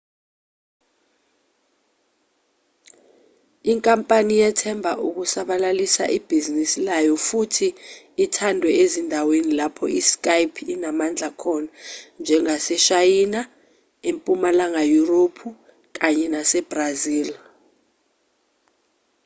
inkampani yethemba ukusabalalisa ibhizinisi layo futhi ithandwe ezindaweni lapho i-skype inamandla khona njengaseshayina empumalanga yurophu kanye nasebrazil